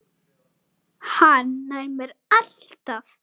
Hann nær mér alltaf!